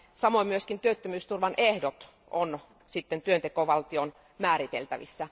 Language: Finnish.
Samoin myös työttömyysturvan ehdot ovat työntekovaltion määriteltävissä.